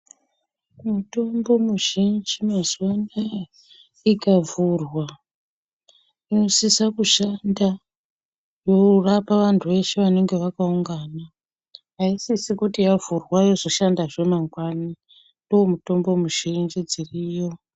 Mutombo muzhinji mazuva anaya ikavhurwa inosisa kushanda yorapa vantu veshe vanenge vakaungana. Haisisi kuti izoshandazve mangwani, ndoomutombo muzhinji dziriyo.